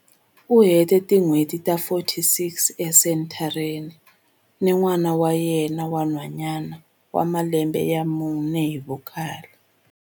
U hete tin'hweti ta 46 esenthareni ni n'wana wa yena wa nhwanyana wa malembe ya mune hi vukhale.